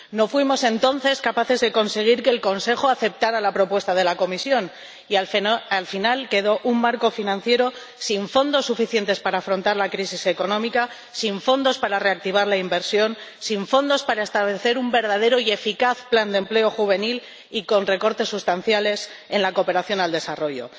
No fuimos entonces capaces de conseguir que el Consejo aceptara la propuesta de la Comisión y al final quedó un marco financiero sin fondos suficientes para afrontar la crisis económica, sin fondos para reactivar la inversión, sin fondos para establecer un verdadero y eficaz plan de empleo juvenil y con recortes sustanciales en la cooperación al desarrollo.